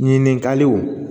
Ɲininkaliw